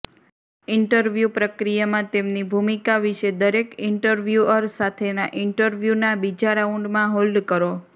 interview પ્રક્રિયામાં તેમની ભૂમિકા વિશે દરેક ઇન્ટરવ્યુઅર સાથેના ઇન્ટરવ્યુના બીજા રાઉન્ડમાં હોલ્ડ કરો